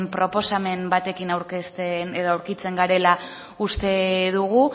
proposamen batekin aurkitzen garela uste dugu